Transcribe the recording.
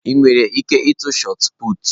Ị nwere ike ịtụ shọt pụtụ?